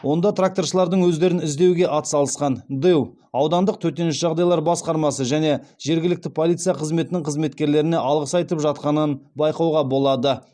онда тракторшылардың өздерін іздеуге атсалысқан дэу аудандық төтенше жағдайлар басқармасы және жергілікті полиция қызметінің қызметкерлеріне алғыс айтып жатқанын байқауға болады